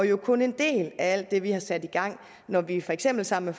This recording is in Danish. jo kun en del af alt det vi har sat i gang når vi for eksempel sammen